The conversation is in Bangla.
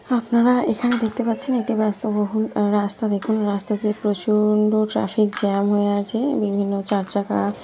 আপনারা এখানে দেখতে পাচ্ছেন এটি ব্যস্ত বহুল রাস্তা দেখুন রাস্তাতে প্রচুউর লোক ট্রাফিক জ্যাম হয়ে আছে বিভিন্ন চারচাকা ।